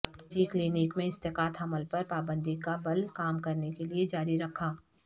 نجی کلینک میں اسقاط حمل پر پابندی کا بل کام کرنے کے لئے جاری رکھا